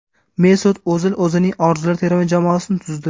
Mesut O‘zil o‘zining orzular terma jamoasini tuzdi.